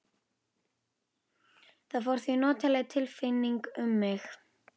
Það fór því notaleg tilfinning um mig.